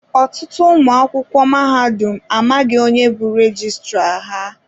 Ọtụtụ ụmụ akwụkwọ mahadum amaghị onye bu rejistra ha.